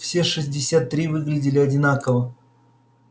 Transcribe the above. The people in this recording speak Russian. все шестьдесят три выглядели одинаково